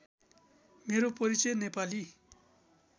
मेरो परिचय नेपाली